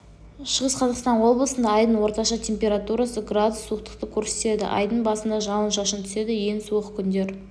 шығыс қазақстан облысында айдың орташа температурасы градус суықтықты көрсетеді айдың басында жауын-шашын түседі ең суық күндер